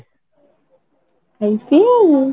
ହେଇଟି ଆଉ ଉଁ